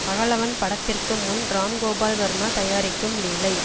பகலவன் படத்திற்கு முன் ராம்கோபால் வர்மா தயாரிக்கும் லீலை